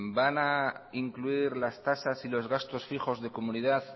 van a incluir las tasas y los gastos fijos de comunidad